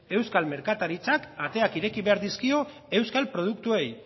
euskal merkataritzak ateak ireki behar dizkio euskal produktuei